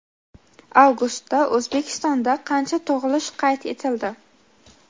Avgustda O‘zbekistonda qancha tug‘ilish qayd etildi?.